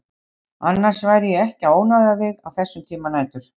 Annars væri ég ekki að ónáða þig á þessum tíma nætur.